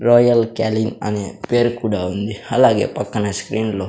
royal calling అనే పేరు కూడా ఉంది అలాగే పక్కన స్క్రీన్ లో --